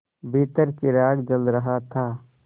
भीतर चिराग जल रहा था